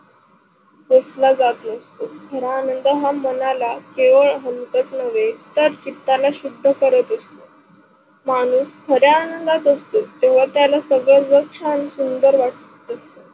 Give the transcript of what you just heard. क्कोसला जात नसतो. खरा आनंद हा मनाला केवळ हलकच नवे तर चीताला शुद्ध करत असतो. माणूस खऱ्या आनंदात असतो तेव्हा त्याला सर्व जग छान सुंदर वाटतो.